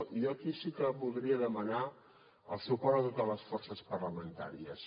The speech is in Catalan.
i jo aquí sí que voldria demanar el suport de totes les forces parlamentàries